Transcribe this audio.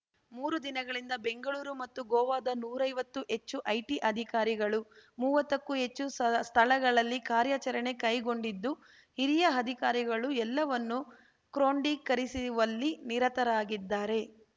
ಮೂರು ದಿನಗಳಿಂದ ಬೆಂಗಳೂರು ಮತ್ತು ಗೋವಾದ ನೂರೈವತ್ತು ಹೆಚ್ಚು ಐಟಿ ಅಧಿಕಾರಿಗಳು ಮುವತ್ತಕ್ಕೂ ಹೆಚ್ಚು ಸ್ಥಳಗಳಲ್ಲಿ ಕಾರ್ಯಾಚರಣೆ ಕೈಗೊಂಡಿದ್ದು ಹಿರಿಯ ಅಧಿಕಾರಿಗಳು ಎಲ್ಲವನ್ನು ಕ್ರೋಮ್ಡಿಕರಿಸಿವಲ್ಲಿ ನಿರತರಾಗಿದ್ದಾರೆ